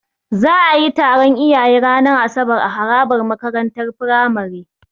Za'a yi taron iyaye ranar asabar a harabar makarantar Firamare.